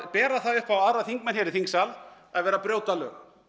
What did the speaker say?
bera það upp á þingmenn að vera að brjóta lög